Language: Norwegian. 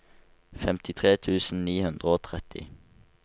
femtitre tusen ni hundre og tretti